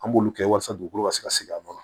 An b'olu kɛ walasa dugukolo ka se ka sigi a nɔ na